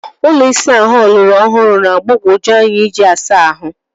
Ụlọ ịsa ahụ ọlọrọ ọhụrụ na-agbagoju anya iji asa ahụ.